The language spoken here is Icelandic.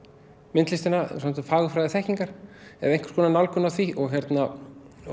myndlistina fagurfræði þekkingar eða einhvers konar nálgun á því og hérna